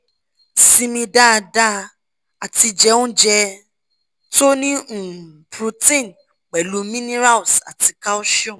simi dada ati je ounje to ni um protein pupo minerals ati calcium